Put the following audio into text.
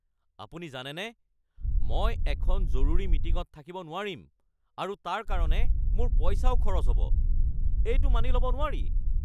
আপুনি জানেনে মই এখন জৰুৰী মিটিঙত থাকিব নোৱাৰিম আৰু তাৰ কাৰণে মোৰ পইচাও খৰচ হ'ব ? এইটো মানি ল'ব নোৱাৰি